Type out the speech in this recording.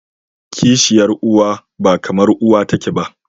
kishiyar uwa ba kamar uwa take ba.